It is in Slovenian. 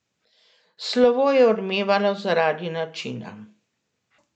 Slovo je odmevalo zaradi načina.